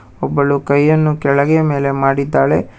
ಒಬ್ಬಳು ಕೈಯನ್ನು ಕೆಳಗೆ ಮೇಲೆ ಮಾಡಿದ್ದಾಳೆ.